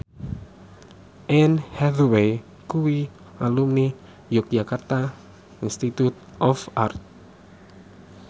Anne Hathaway kuwi alumni Yogyakarta Institute of Art